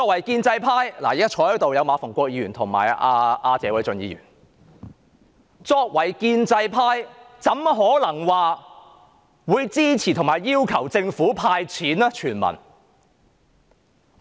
建制派的議員——現時馬逢國議員及謝偉俊議員在席——豈可支持和要求政府全民"派錢"？